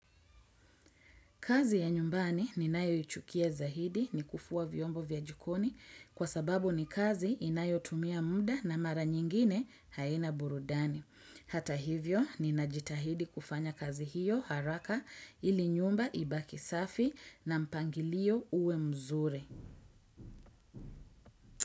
Kazi ya nyumbani ninayo ichukia zaidi ni kufua vyombo vya jikoni kwa sababu ni kazi inayotumia muda na mara nyingine haina burudani. Hata hivyo ninajitahidi kufanya kazi hiyo haraka ili nyumba ibaki safi na mpangilio uwe mzuri.